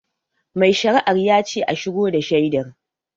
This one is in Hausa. Mai shari'ar yace a shigo da shaidar